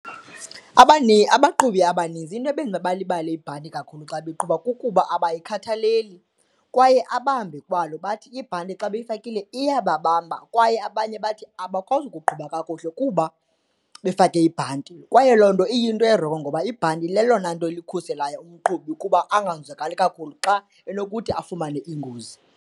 Abaqhubi abanintsi into ebenza balibale ibhanti kakhulu xa beqhuba kukuba abayikhathaleli kwaye abambe kwalo bathi ibhanti xa beyifakile iyababamba kwaye abanye bathi abakwazi ukuqhuba kakuhle kuba befake ibhanti. Kwaye loo nto iyinto erongo ngoba ibhanti leyona nto ikhuselayo umqhubi ukuba anganzadakali kakhulu xa enokuthi afumane ingozi.